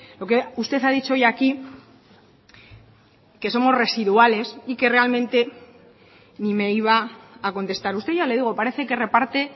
lo que usted ha dicho hoy aquí que somos residuales y que realmente ni me iba a contestar usted ya le digo parece que reparte